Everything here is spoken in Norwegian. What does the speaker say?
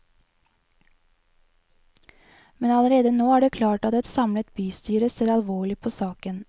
Men allerede nå er det klart at et samlet bystyre ser alvorlig på saken.